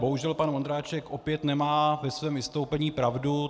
Bohužel pan Vondráček opět nemá ve svém vystoupení pravdu.